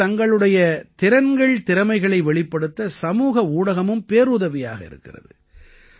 மக்கள் தங்களுடைய திறன்கள்திறமைகளை வெளிப்படுத்த சமூக ஊடகமும் பேருதவியாக இருக்கிறது